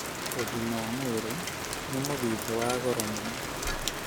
ũgima wa mwĩrĩ nĩ mũthithũ wa goro mũno